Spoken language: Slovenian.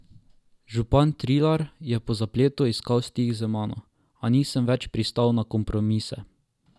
Župan Trilar je po zapletu iskal stik z mano, a nisem več pristal na kompromise.